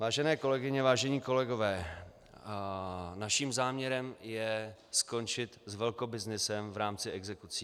Vážené kolegyně, vážení kolegové, naším záměrem je skončit s velkobyznysem v rámci exekucí.